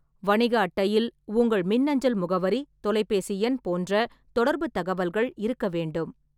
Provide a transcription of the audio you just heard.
வணிக அட்டையில் உங்கள் மின்னஞ்சல் முகவரி, தொலைபேசி எண் போன்ற தொடர்புத் தகவல்கள் இருக்க வேண்டும்.